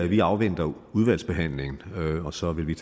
vi afventer udvalgsbehandlingen og så vil vi